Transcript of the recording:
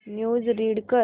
news read कर